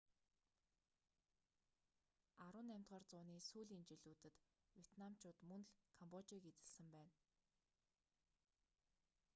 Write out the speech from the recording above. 18-р зууны сүүлийн жилүүдэд ветнамыууд мөн л камбожийг эзэслсэн байна